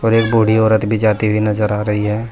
और एक बूढी औरत भी जाती हुई नजर आ रही है।